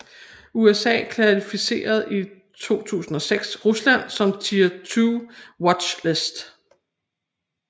USA klassificerede i 2006 Rusland som Tier 2 Watch list